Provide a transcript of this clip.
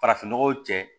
Farafinnɔgɔ cɛ